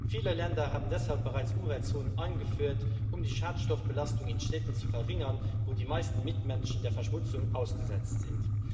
Viele Länder haben deshalb bereits Umweltzonen eingeführt, um die Schadstoffbelastung in Städten zu verringern, wo die meisten Menschen der Verschmutzung ausgesetzt sind.